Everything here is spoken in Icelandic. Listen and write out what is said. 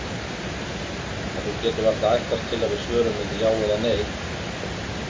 En þú getur varla ætlast til að við svörum með já eða nei.